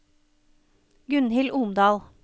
Gunnhild Omdal